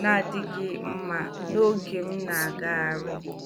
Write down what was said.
na-adịghị mma n'oge m na-agagharị.